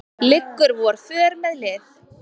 liggur vor för með lið